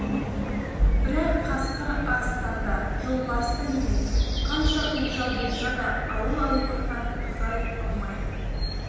бірақ қасқыр арыстан да жолбарыс та емес қанша көкжал болса да ауыл-аймақтан ұзай алмайды